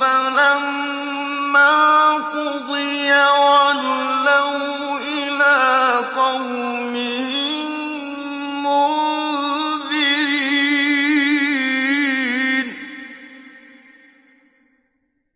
فَلَمَّا قُضِيَ وَلَّوْا إِلَىٰ قَوْمِهِم مُّنذِرِينَ